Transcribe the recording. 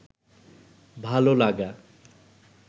ভাল লাগা